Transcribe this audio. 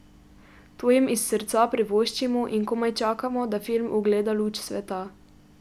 To jim iz srca privoščimo in komaj čakamo, da film ugleda luč sveta.